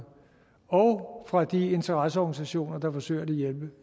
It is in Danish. og fra de interesseorganisationer der forsøger at hjælpe